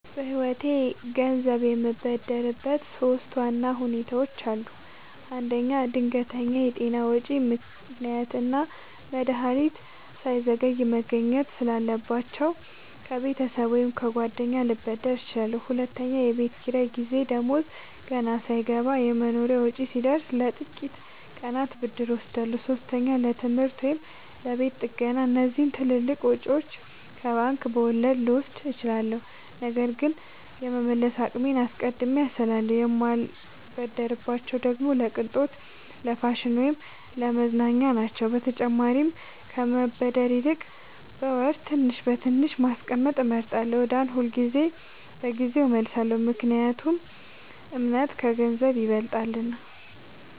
በህይወቴ ገንዘብ የምበደርበት ሶስት ዋና ሁኔታዎች አሉ። አንደኛ፣ ድንገተኛ የጤና ወጪ – ህክምና እና መድሀኒት ሳይዘገይ መገኘት ስላለባቸው፣ ከቤተሰብ ወይም ከጓደኛ ልበደር እችላለሁ። ሁለተኛ፣ የቤት ኪራይ ጊዜ – ደሞዝ ገና ሳይገባ የመኖሪያ ወጪ ሲደርስ፣ ለጥቂት ቀናት ብድር እወስዳለሁ። ሶስተኛ፣ ለትምህርት ወይም ለቤት ጥገና – እነዚህን ትልልቅ ወጪዎች ከባንክ በወለድ ልወስድ እችላለሁ፣ ነገር ግን የመመለስ አቅሜን አስቀድሜ አስላለሁ። የማልበደርባቸው ደግሞ ለቅንጦት፣ ለፋሽን ወይም ለመዝናኛ ናቸው። በተጨማሪም ከመበደር ይልቅ በወር ትንሽ በትንሽ ማስቀመጥ እመርጣለሁ። ዕዳን ሁልጊዜ በጊዜው እመልሳለሁ – ምክንያቱም እምነት ከገንዘብ ይበልጣልና።